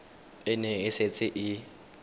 e ne e setse e